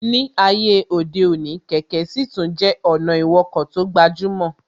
Ní ayé òde òní, kẹ̀kẹ́ sì tún jẹ́ ọ̀nà ìwọkọ̀ tó gbajúmọ̀